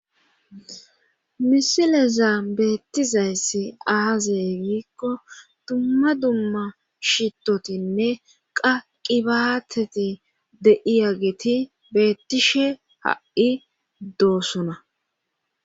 misileza beettizayssi aazay giikko dumma dumma shitotinne qa qibaateti de7iyageti bettishe ha7i doosona